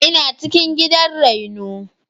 Ina cikin gidan raino.